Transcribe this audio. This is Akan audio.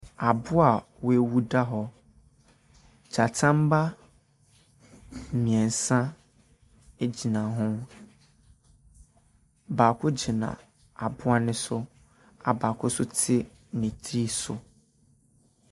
Aboa a wawu da hɔ. Gyata mma mmiɛnsa egyina ho. Baako gyina aboa ne so a baako so te ne ti so.